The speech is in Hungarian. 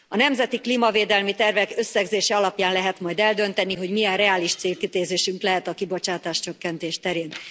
A nemzeti klímavédelmi tervek összegzése alapján lehet majd eldönteni, hogy milyen reális célkitűzésünk lehet a kibocsátáscsökkentés terén.